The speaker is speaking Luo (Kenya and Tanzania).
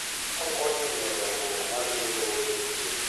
Okonyo e miyo dongruok mar yuto obedie.